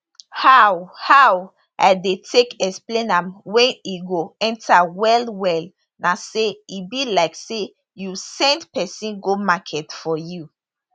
how how i dey take explain am wey e go enta wellwell na say e be like say you send pesin go market for you